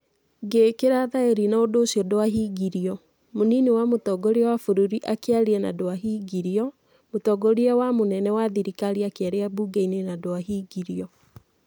Ngĩikira thaĩri na undu ucio ndwahingĩrio, Mũnini wa Mũtongoria wa Bũrũri akĩaria na ndwahingĩrio, Mũtongoria wa mũnene wa thirikari akĩaria mbunge-inĩ na ndwahingĩrio.